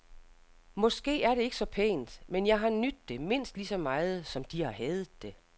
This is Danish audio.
Måske er det ikke så pænt, men jeg har nydt det, mindst ligeså meget som de har hadet det.